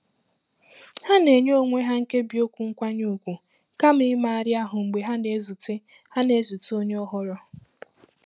Ha na-enye onwe ha nkebi okwu nkwanye ùgwù kama imegharị ahụ́ mgbe ha na-ezute ha na-ezute onye ọhụrụ.